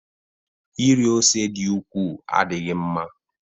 Iri ose dị ukwuu adịghị mma